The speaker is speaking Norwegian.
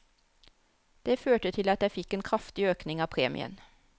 Det førte til at jeg fikk en kraftig økning av premien.